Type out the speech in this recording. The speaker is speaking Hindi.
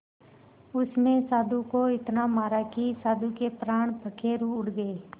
उसने साधु को इतना मारा कि साधु के प्राण पखेरु उड़ गए